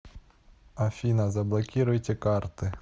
афина заблокируйте карты